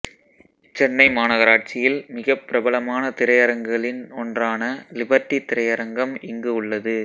சென்னை மாநகராட்சியில் மிகப் பிரபலமான திரையரங்குகளின் ஒன்றான லிபர்டி திரையரங்கம் இங்கு உள்ளது